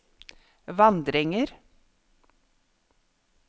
vandringer